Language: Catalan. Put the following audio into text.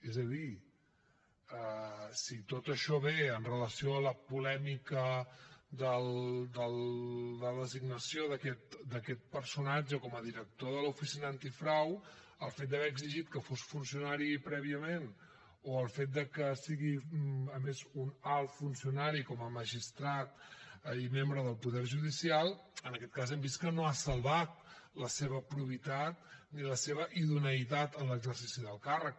és a dir si tot això ve amb relació a la polèmica de la designació d’aquest personatge com a director de l’oficina antifrau el fet d’haver exigit que fos funcionari prèviament o el fet de que sigui a més un alt funcionari com a magistrat i membre del poder judicial en aquest cas hem vist que no ha salvat la seva probitat ni la seva idoneïtat en l’exercici del càrrec